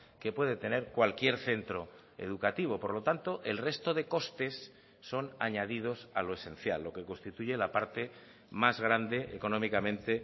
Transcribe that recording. que puede tener cualquier centro educativo por lo tanto el resto de costes son añadidos a lo esencial lo que constituye la parte más grande económicamente